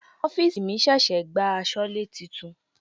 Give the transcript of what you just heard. Ọ́fìsì mi ṣẹ̀ṣẹ̀ gba asọlé titun.